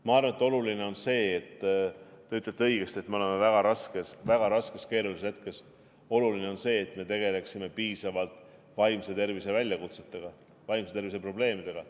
Ma arvan, te ütlete õigesti, et me oleme väga raskes, väga raskes ja keerulises hetkes, ja oluline on see, et me tegeleksime piisavalt vaimse tervise väljakutsetega, vaimse tervise probleemidega.